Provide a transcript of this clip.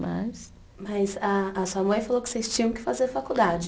Mas. Mas a a sua mãe falou que vocês tinham que fazer faculdade.